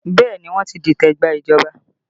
Bẹẹ ni, wọ́n ti dìtẹ̀ gba ìjọba